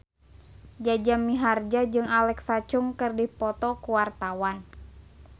Jaja Mihardja jeung Alexa Chung keur dipoto ku wartawan